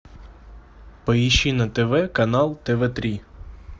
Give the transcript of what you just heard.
поищи на тв канал тв три